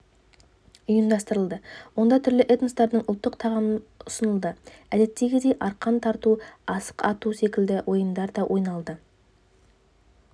ұйымдастырылды онда түрлі этностардың ұлттық тағамдарыұсынылды әдеттегідей арқан тарту асық ату секілді ойындар да ойналды